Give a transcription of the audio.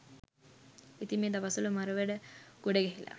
ඉතින් මෙ දවස්වල මරවැඩ ගොඩ ගැහිලා